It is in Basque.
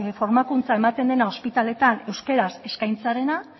formakuntza ematen dena ospitaletan euskaraz eskaintzarena